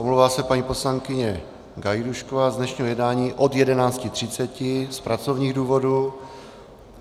Omlouvá se paní poslankyně Gajdůšková z dnešního jednání od 11.30 z pracovních důvodů.